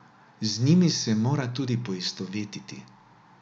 Z njimi se mora tudi poistovetiti.